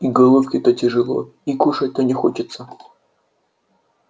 и головке-то тяжело и кушать-то не хочется